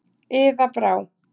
Iða Brá.